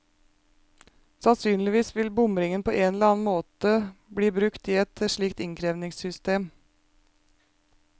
Sannsynligvis vil bomringen på en eller annen måte bli brukt i et slikt innkrevingssystem.